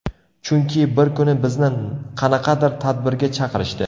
Chunki bir kuni bizni qanaqadir tadbirga chaqirishdi.